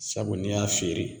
Sabu n'i y'a feere